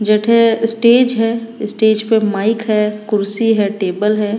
जठे स्टेज है स्टेज पर माइक है कुर्सी है टेबल है।